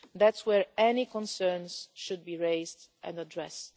That is where any concerns should be raised and addressed.